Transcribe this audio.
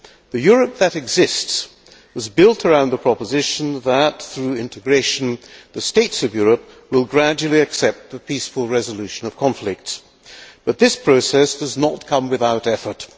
The Europe that exists was built around the proposition that, through integration, the states of Europe will gradually accept a peaceful resolution of conflicts, but this process does not come without effort.